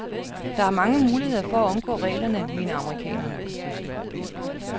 Der er mange muligheder for at omgå reglerne, mener amerikanerne.